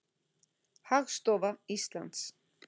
Hagstofa Íslands.